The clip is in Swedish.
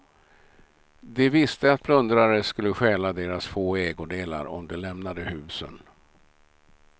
De visste att plundrare skulle stjäla deras få ägodelar om de lämnade husen.